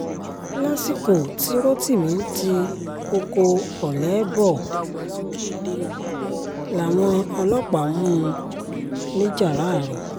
lásìkò tí rotimi ń ti ọkọ̀ ọ̀lẹ bọ̀ làwọn ọlọ́pàá mú un ńìjáràró